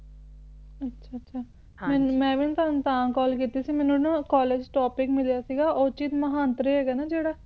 ਅੱਛਾ ਅੱਛਾ ਮੈਂ ਵੀ ਨਾ ਤੁਹਾਨੂੰ ਤਾਂ call ਕੀਤੀ ਸੀ ਮੈਨੂੰ ਨਾ college topic ਮਿਲਿਆ ਸੀਗਾ ਔਰਚਿਤ ਮਹਾਂਤਰੇ ਹੈਗਾ ਨਾ ਜਿਹੜਾ